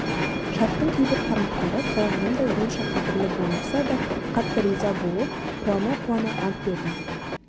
шарттың кейбір тармақтары қалағанымдай онша қадірлі болмаса да қатты риза болып қуана-қуана ант бердім